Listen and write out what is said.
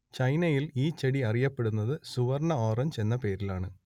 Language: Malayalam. ചൈനയിൽ ഈ ചെടി അറിയപ്പെടുന്നത് സുവർണ്ണ ഓറഞ്ച് എന്ന പേരിലാണ്